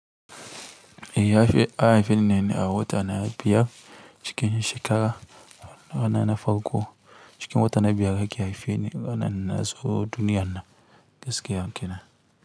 Eya haifi ne a wata na biyar cikin shekara, a rana farko cikin wata na biyar da ke haife ne rana nazo duniyana gaskiya kenan.